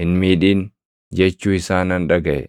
hin miidhin!” jechuu isaa nan dhagaʼe.